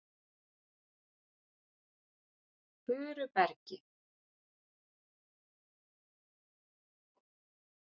Furubergi